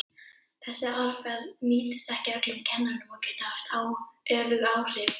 Þessi aðferð nýtist ekki öllum kennurum og getur haft öfug áhrif.